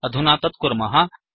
अधुना तत्कुर्मः